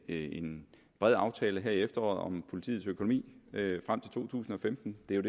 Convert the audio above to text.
en bred aftale her i efteråret om politiets økonomi frem til to tusind og femten det er